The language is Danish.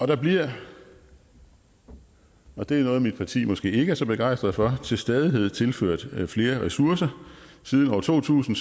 der bliver og det er noget mit parti måske ikke er så begejstret for til stadighed tilført flere ressourcer siden år to tusind